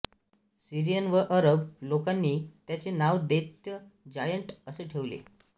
Syrian व अरब लोकांनी त्याचे नाव दैत्य जायंट असे ठेवले